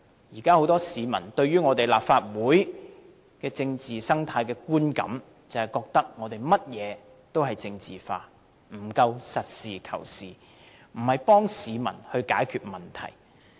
現時很多市民對立法會政治生態的觀感，是覺得我們任何事情也政治化，不夠實事求是，不是幫市民解決問題。